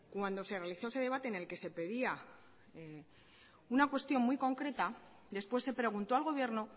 cuando se realizó ese debate en el que se pedía una cuestión muy concreta después se preguntó al gobierno